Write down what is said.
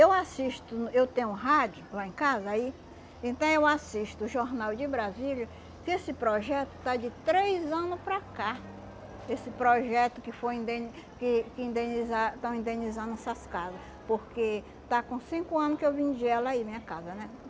Eu assisto, eu tenho um rádio lá em casa aí, então eu assisto o Jornal de Brasília, que esse projeto está de três anos para cá, esse projeto que foi indeni que que indeniza estão indenizando essas casas, porque está com cinco anos que eu vendi ela aí, minha casa, né?